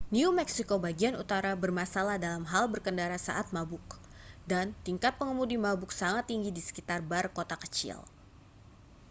new meksiko bagian utara bermasalah dalam hal berkendara saat mabuk dan tingkat pengemudi mabuk sangat tinggi di sekitar bar kota kecil